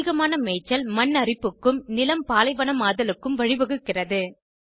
அதிகமான மேய்ச்சல் மண் அரிப்புக்கும் நிலம் பாலைவனமாதலுக்கும் வழிவகுக்கிறது